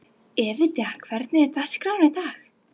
Evíta, hvernig er dagskráin í dag?